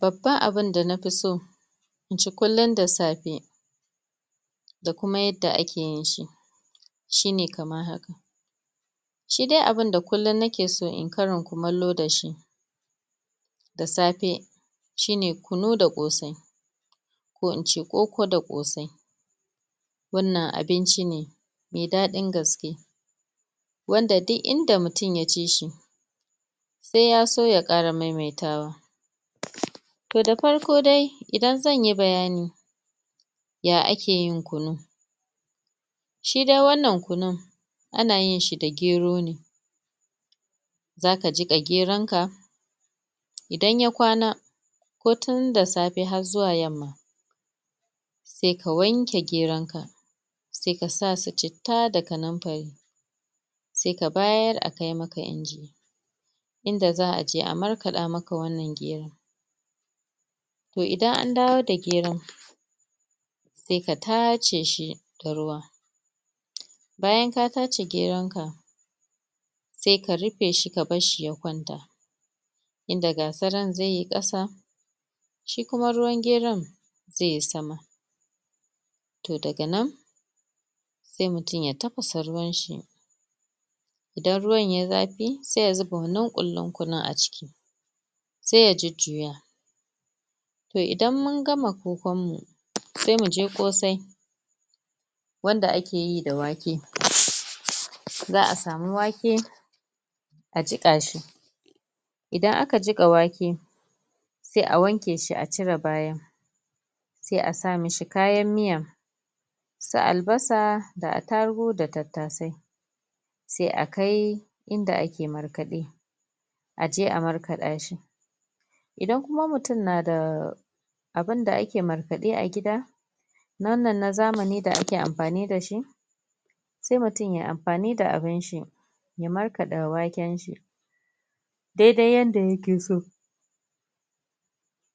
babban abun da fi so inci kullum da safe da kuma yadda akeyin shi shine kamar haka shi de abin da kullum nake so inyi karin kumallo dashi da safe shine kunu da kosai ko ince koko da kosai wannan abinci ne mai daɗin gaske wanda ku inda mutum ya cishi sai yaso ya kara maimaitawa to da farko dai idan zanyi bayani ya akeyin kunu shi dai wannan kunun ana yin shi da gero ne kaga jiqa geron ka idan ya kwana ko tunda safe har zuwa yamman sai ka wanke geronka sai kasa su citta da kamanfari sai ka bayar akai maka inji ida za'a je a markaɗa maka wannan gero to idan andawo da geron sai ka tashe shi da ruwa bayan ka tace geron ka sai ka rufe shi ka barshi ya kwanta inda gasaran zaiyi ƙasa shi kuma ruwan gero zaiyi sama toh daga nan sai mutum ya tafasa ruwan sa idan ruwan yayi zafi sai ya zuba wannan kullin kunun a ciki sai ya jujjuya to idan mun gama kokon mu sai muke kosai wannad akeyi da wake? za'a samu wake a jika shi idan aka jika wake sai a wanke shi acire bayan sai a sa mishi kayan miya su albasa da attarugu da tattase sai akai inda ake markaɗe aje a markaɗa shi idan kuma mutum na daa abun da ake markaɗe a gida wannan na zamani da ake amfani dashi sai mutum yayi amfani da abun shi ya markaɗa waken shi dai dai yanda yake so